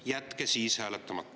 Jätke siis hääletamata.